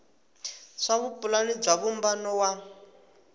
swa vupulani bya vumbano wa